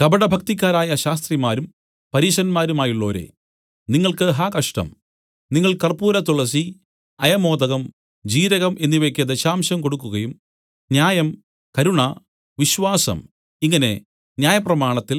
കപടഭക്തിക്കാരായ ശാസ്ത്രിമാരും പരീശന്മാരുമായുള്ളോരേ നിങ്ങൾക്ക് ഹാ കഷ്ടം നിങ്ങൾ കർപ്പൂരതുളസി അയമോദകം ജീരകം എന്നിവയ്ക്ക് ദശാംശം കൊടുക്കുകയും ന്യായം കരുണ വിശ്വാസം ഇങ്ങനെ ന്യായപ്രമാണത്തിൽ